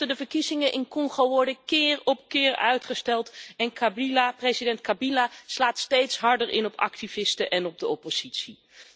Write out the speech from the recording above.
De verkiezingen in Congo worden keer op keer uitgesteld en president Kabila slaat steeds harder in op activisten en de oppositie.